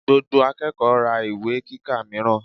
Gbogbo akẹ́kọ̀ọ́ ra ìwé kíkà mìíràn.